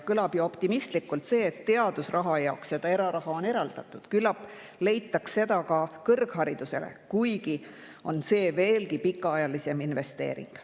Kõlab optimistlikult, et teadusraha jaoks on eraraha eraldatud, küllap leitaks seda ka kõrgharidusele, kuigi on see veelgi pikaajalisem investeering.